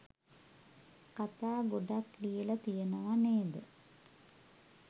කතා ගොඩක් ලියල තියනව නේද?